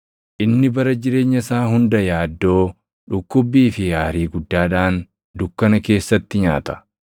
Inni bara jireenya isaa hunda yaaddoo, dhukkubbii fi aarii guddaadhaan dukkana keessatti nyaata.